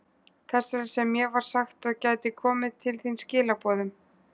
Þessari sem mér var sagt að gæti komið til þín skilaboðum?